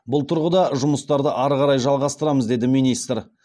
бұл тұрғыда жұмыстарды ары қарай жалғастырамыз деді министр